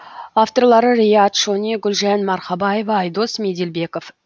авторлары риат шони гүлжан марқабаева айдос меделбеков